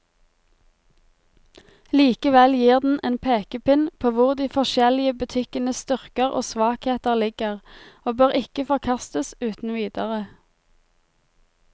Likevel gir den en pekepinn på hvor de forskjellige butikkenes styrker og svakheter ligger, og bør ikke forkastes uten videre.